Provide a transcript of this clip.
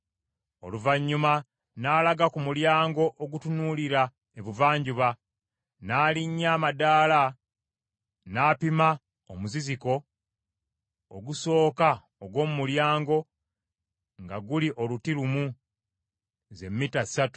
Oluvannyuma n’alaga ku mulyango ogutunuulira Ebuvanjuba, n’alinnya amadaala n’apima omuziziko ogusooka ogw’omu mulyango, nga guli oluti lumu, ze mita ssatu.